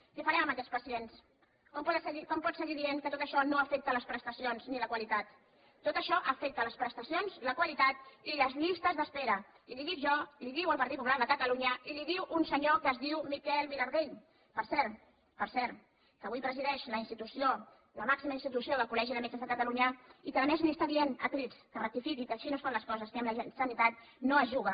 què farem amb aquests pacients com pot seguir dient que tot això no afecta les prestacions ni la qualitat tot això afecta les prestacions la qualitat i les llistes d’espera i li ho dic jo li ho diu el partit popular de catalunya i li ho diu un senyor que es diu miquel vilardell per cert que avui presideix la institució la màxima institució del col·legi de metges de catalunya i que a més li està dient a crits que rectifiqui que així no es fan les coses que amb la sanitat no es juga